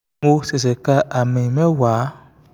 mo ṣẹ̀ṣẹ̀ ka àmì mẹ́wàá